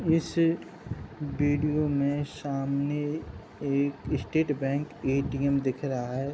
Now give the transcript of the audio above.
इस वीडिओ में सामने एक स्टेट बैंक ए_टी_एम दिख रहा है।